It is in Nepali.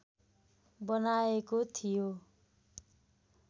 बनाइएको थियो